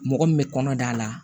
Mɔgɔ min bɛ kɔnɔ da la